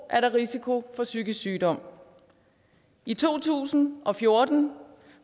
er der risiko for psykisk sygdom i to tusind og fjorten